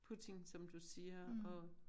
Putin som du siger